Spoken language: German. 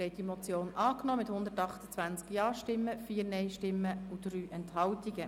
Sie haben die Motion angenommen mit 128 Ja- gegen 4 Nein-Stimmen bei 3 Enthaltungen.